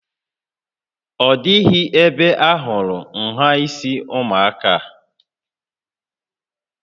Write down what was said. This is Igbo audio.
Ọ dịghị ebe ahụrụ nhà isi ụmụaka a